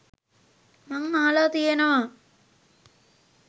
මං අහලා තියෙනවා